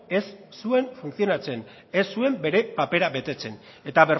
ez zuen funtzionatzen ez zuen bere papera betetzen eta